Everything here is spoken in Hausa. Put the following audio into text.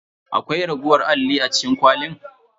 Akwai raguwar alli a cikin kwalin?